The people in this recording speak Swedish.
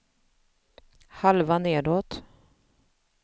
halva nedåt